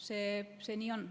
Nii see on.